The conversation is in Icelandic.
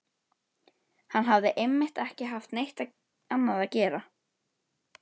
Hann hafði einmitt ekki haft neitt annað að gera.